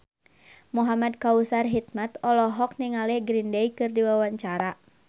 Muhamad Kautsar Hikmat olohok ningali Green Day keur diwawancara